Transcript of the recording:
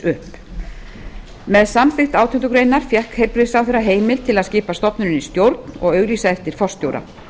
upp með samþykkt átjándu grein fékk heilbrigðisráðherra heimild til að skipa stofnuninni stjórn og auglýsa eftir forstjóra